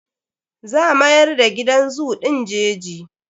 Za mayar da gidan zoo ɗin jeji.